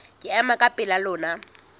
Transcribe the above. ke ema ka pela lona